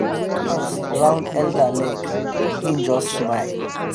dance round elder leg — him just smile.